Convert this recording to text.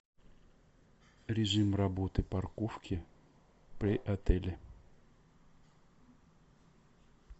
режим работы парковки при отеле